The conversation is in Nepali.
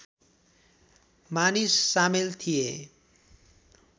मानिस सामेल थिए